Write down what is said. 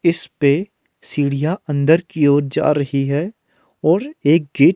इस पे सीढ़ियां अंदर की ओर जा रही है और एक गेट --